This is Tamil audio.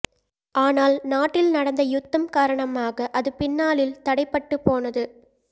ஆனால் நாட்டில் நடந்த யுத்தம் காரணமாக அது பின்னாளில் தடைப்பட்டு போனது